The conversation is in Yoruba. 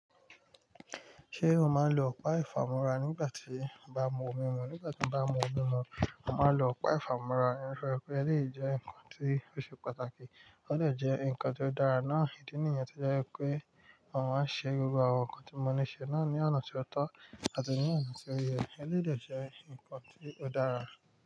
Ṣé o máa ń lo ọ̀pá ìfàmúra nígbà tí o bá n mu omi mu? Nígbà tí mo bá mu omi mu, mo máa ń lo ọ̀pá ìfàmúra nítorí pé eléyìí jẹ́ nǹkan tí ó ṣe pàtàkì. Ó de jẹ́ nǹkan tó dára náà, ìdí nìyẹn tí ó jẹ́ pé màá ṣe gbogbo àwọn nǹkan tí mo ní ṣe náà ní ọ̀nà tó ọtọ́ àti ní ọ̀nà tó yẹ. Eléyìí dà jẹ́ nǹkan tí ó dára.